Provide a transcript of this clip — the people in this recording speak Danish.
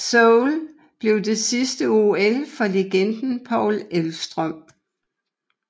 Seoul blev det sidste OL for legenden Paul Elvstrøm